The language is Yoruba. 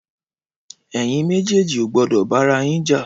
Ẹyin mèjèji ó gbọdọ bàràyín jà